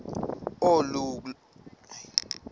oluka ka njl